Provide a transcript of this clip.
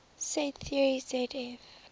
set theory zf